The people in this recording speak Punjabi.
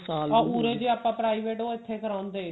ਆਹ ਉਰੇ ਦੀ ਆਪਾਂ private ਇੱਥੇ ਕਰਵਾਉਂਦੇ